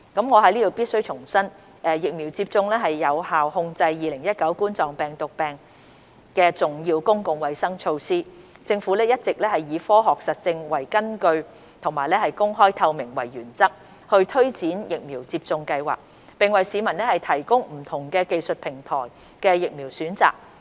我在此必須重申，疫苗接種是有效控制2019冠狀病毒病重要的公共衞生措施，政府一直以科學實證為根據及公開透明為原則推展疫苗接種計劃，並為市民提供不同技術平台的疫苗選擇。